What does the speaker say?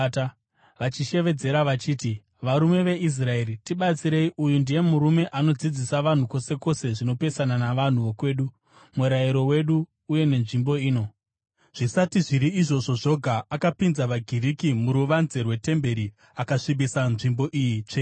vachishevedzera vachiti, “Varume veIsraeri, tibatsirei! Uyu ndiye murume anodzidzisa vanhu kwose kwose zvinopesana navanhu vokwedu, murayiro wedu uye nenzvimbo ino. Zvisati zviri izvozvo zvoga, akapinza vaGiriki muruvanze rwetemberi akasvibisa nzvimbo iyi tsvene.”